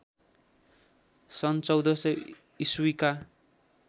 सन्‌ १४०० ईस्वीका